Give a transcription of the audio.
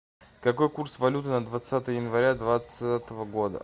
какой курс валюты на двадцатое января двадцатого года